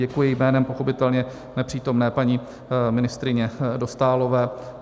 Děkuji jménem pochopitelně nepřítomné paní ministryně Dostálové.